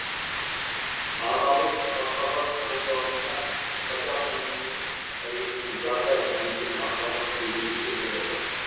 аналық махаббат өз алдына қазақ әйелінің әйелінің жарға деген махаббаты да ерекше болады